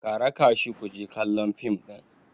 ka raka shi ku je kallon fim ɗin!